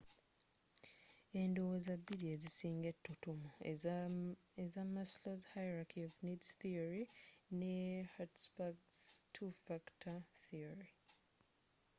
endowooza bbiri ezisinga etutumu eza maslow's hierarchy of needs theory ne hertzberg's two factor theory